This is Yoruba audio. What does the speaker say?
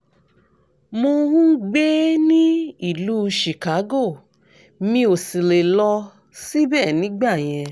mo ń gbé ní ìlú chicago mi ò sì lè lọ síbẹ̀ nígbà yẹn